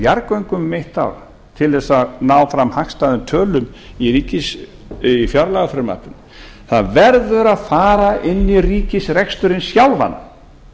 jarðgöngum um eitt ár til þess að ná fram hagstæðum tölum í fjárlagafrumvarpinu það verður að fara inn í ríkisreksturinn sjálfan